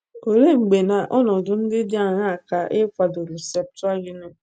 Olee mgbe na nọnọdụ ndị dị aṅaa ka a kwadoro Septụaginti?